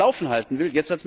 am Laufen halten will.